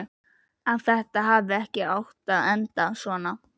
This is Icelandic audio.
Að þetta hafi ekki átt að enda svona.